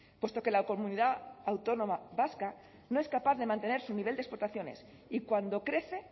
puesto que la comunidad autónoma vasca no es capaz de mantener su nivel de exportaciones y cuando crece